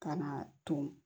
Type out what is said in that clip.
Ka na ton